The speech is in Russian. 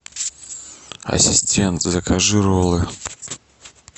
ассистент закажи роллы